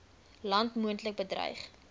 land moontlik bedreig